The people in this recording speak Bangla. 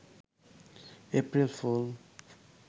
April fool